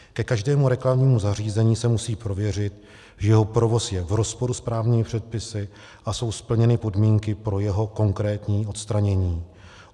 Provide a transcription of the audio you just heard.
Ke každému reklamnímu zařízení se musí prověřit, že jeho provoz je v rozporu s právními předpisy a jsou splněny podmínky pro jeho konkrétní odstranění.